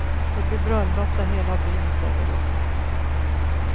Det blir bröllop där hela byn ställer upp.